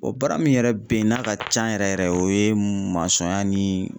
O baara min yɛrɛ bɛ yen n'a ka can yɛrɛ yɛrɛ o ye masɔnya ni.